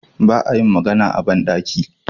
Ba a yin magana a ban ɗaki.